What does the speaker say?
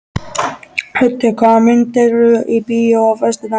Höddi, hvaða myndir eru í bíó á föstudaginn?